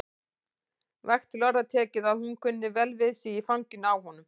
Vægt til orða tekið að hún kunni vel við sig í fanginu á honum.